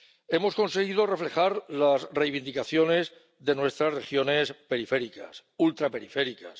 Hemos conseguido reflejar las reivindicaciones de nuestras regiones periféricas y ultraperiféricas.